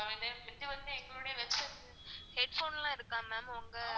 headphone லாம் இருக்கா ma'am உங்க